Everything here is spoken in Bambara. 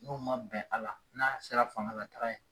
N'u ma bɛn a la, n'a sera fanga la taga ye.